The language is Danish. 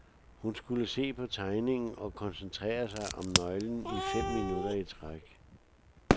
Hun skulle se på tegningen og koncentrere sig om nøglen i fem minutter i træk.